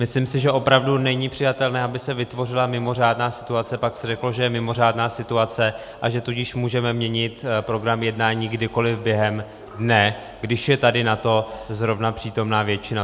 Myslím si, že opravdu není přijatelné, aby se vytvořila mimořádná situace, pak se řeklo, že je mimořádná situace, a že tudíž můžeme měnit program jednání kdykoliv během dne, když je tady na to zrovna přítomná většina.